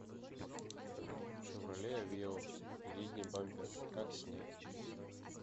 шевроле авео передний бампер как снять